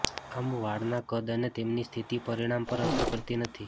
આમ વાળના કદ અને તેમની સ્થિતિ પરિણામ પર અસર કરતી નથી